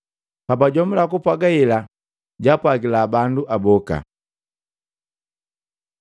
Pajajomula kupwaga hela jwaapwagila bandu aboka.